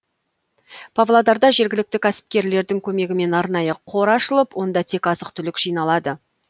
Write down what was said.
павлодарда жергілікті кәсіпкерлердің көмегімен арнайы қор ашылып онда тек азық түлік жиналады